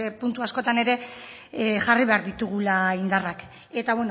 puntu askotan ere jarri behar ditugula indarrak eta